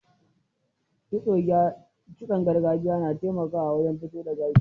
Kitson gargajiya na taimakawa wajen tofo da gashi.